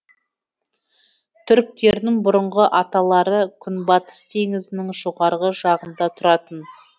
түріктердің бұрынғы аталары күнбатыс теңізінің жоғарғы жағында тұратын